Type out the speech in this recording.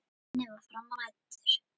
Unnið var fram á nætur.